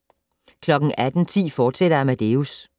18:10: Amadeus, fortsat